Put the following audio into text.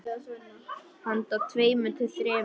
Handa tveimur til þremur